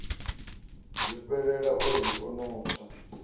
zwifhelela a ri no tswa